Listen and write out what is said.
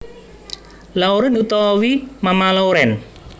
Lauren utawi Mama Lauren